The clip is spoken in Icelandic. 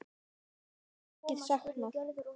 Hans verður mikið saknað.